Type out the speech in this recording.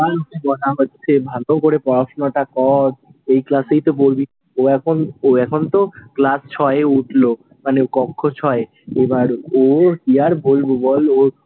ভালো করে পড়াশুনাটা কর, ও এখন ও এখন তো ক্লাস ছয়ে উঠলো, মানে কক্ষ ছয়, এবার ও কি আর বলবো বল,